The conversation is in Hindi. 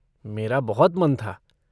मेरा बहुत मन था।